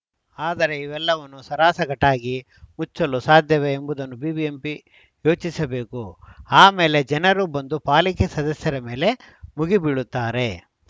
ಆದರೆ ಇವೆಲ್ಲವನ್ನೂ ಸಾರಾಸಗಟಾಗಿ ಮುಚ್ಚಲು ಸಾಧ್ಯವೇ ಎಂಬುದನ್ನು ಬಿಬಿಎಂಪಿ ಯೋಚಿಸಬೇಕು ಆ ಮೇಲೆ ಜನರು ಬಂದು ಪಾಲಿಕೆ ಸದಸ್ಯರ ಮೇಲೆ ಮುಗಿಬೀಳುತ್ತಾರೆ